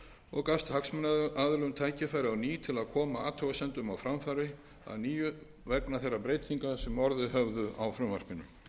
og gafst hagsmunaaðilum tækifæri á ný til að koma athugasemdum á framfæri að nýju vegna þeirra breytinga sem orðið höfðu á frumvarpinu